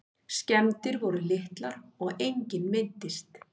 Skemmdir voru litlar og enginn meiddist